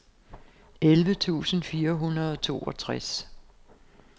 elleve tusind fire hundrede og toogtres